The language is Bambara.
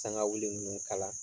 Sangawuli ninnu kala.